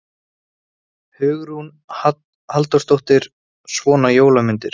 Hugrún Halldórsdóttir: Svona jólamyndir?